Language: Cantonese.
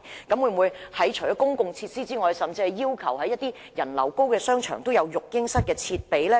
當局在考慮提供公共設施之餘，會否要求在人流較高的商場闢設育嬰室設備？